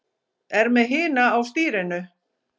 Er með hina á stýrinu.